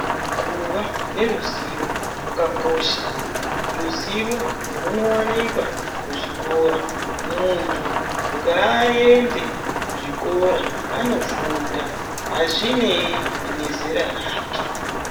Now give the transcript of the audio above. Kuva neruzivo kwakakosha, ruzivo rwunowanikwa kuzvikora. Muntu ngaende kuzvikora anofunda hazvinei nezera rake.